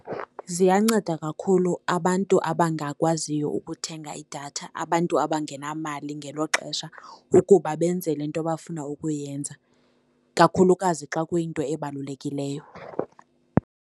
Ziyanceda kakhulu abantu abangakwaziyo ukuthenga idatha, abantu abangenamali ngelo xesha ukuba benze le into abafuna ukuyenza, kakhulukazi xa kuyinto ebalulekileyo.